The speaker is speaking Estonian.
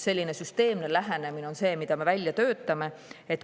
Selline süsteemne lähenemine ongi see, mida me välja töötame.